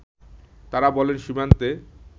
তারা বলেন সীমান্তে